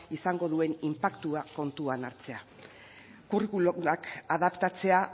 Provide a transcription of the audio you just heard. izango duen inpaktua kontuan hartzea curriculumak adaptatzea